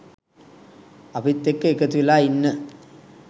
අපිත් එක්ක එකතු වෙලා ඉන්න